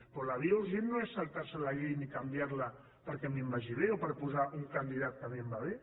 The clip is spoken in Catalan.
però la via urgent no és saltar se la llei ni canviar la perquè a mi em vagi bé o per posar un candidat que a mi em va bé